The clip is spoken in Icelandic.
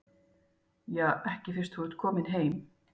Ja, ekki fyrst þú ert kominn heim.